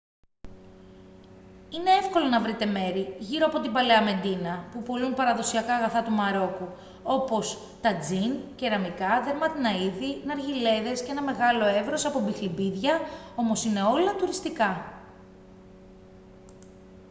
είναι εύκολο να βρείτε μέρη γύρω από την παλαιά μεντίνα που πωλούν παραδοσιακά αγαθά του μαρόκου όπως τατζίν κεραμικά δερμάτινα είδη ναργιλέδες και ένα μεγάλο εύρος από μπιχλιμπίδια όμως είναι όλα τουριστικά